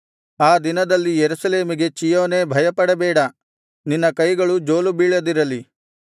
ಆ ದಿನದಲ್ಲಿ ಯೆರೂಸಲೇಮಿಗೆ ಚೀಯೋನೇ ಭಯಪಡಬೇಡ ನಿನ್ನ ಕೈಗಳು ಜೋಲುಬೀಳದಿರಲಿ